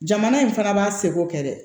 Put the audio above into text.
Jamana in fana b'a seko kɛ dɛ